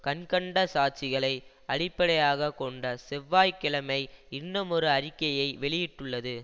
கண்கண்ட சாட்சிகளை அடிப்படையாக கொண்டு செவ்வாய் கிழமை இன்னுமொரு அறிக்கையை வெளியிட்டுள்ளது